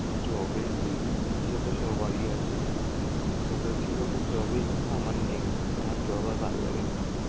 job এর ই~ ইচ্ছে তো সবারই আছে, but কথা হচ্ছে কি বলতো job এর ইচ্ছা আমার নেই. আমার job আর ভালো লাগে না.